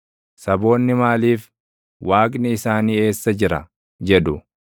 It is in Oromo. Saboonni maaliif, “Waaqni isaanii eessa jira?” jedhu?